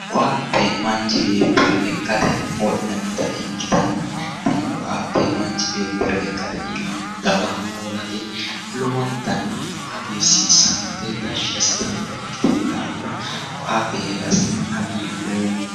Koatte manchi beettira lekkate wodhanotta ikkittanna tini koatte manchi beettira lekkate iillano dawa hoollate lowontanni agartano, hagiirsisanote tashshi assittanotta ikkitinohura koatte heerasenni hagiidhoommo.